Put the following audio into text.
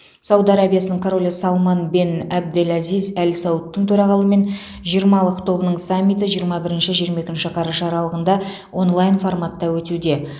сауд арабиясының королі салман бен әбдел әзиз әл саудтың төрағалымен жиырмалық тобының саммиті жиырма бірінші жиырма екінші қараша аралығында онлайн форматта өтуде